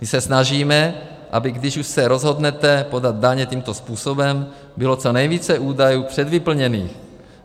My se snažíme, aby když už se rozhodnete podat daně tímto způsobem, bylo co nejvíce údajů předvyplněných.